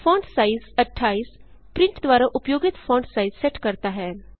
font size 28 print द्वारा उपयोगित font size set करता है